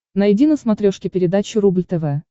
найди на смотрешке передачу рубль тв